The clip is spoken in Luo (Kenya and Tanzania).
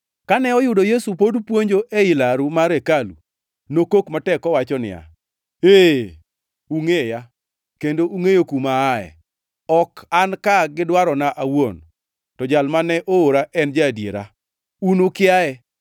Kane oyudo Yesu pod puonjo ei laru mar hekalu, nokok matek kowacho niya, “Ee, ungʼeya, kendo ungʼeyo kuma aaye. Ok an ka gi dwarona awuon, to Jal ma noora en ja-adiera. Un ukiaye,